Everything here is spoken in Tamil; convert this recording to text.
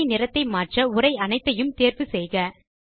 அட்டவணை நிறத்தை மாற்ற உரை அனைத்தையும் தேர்வு செய்க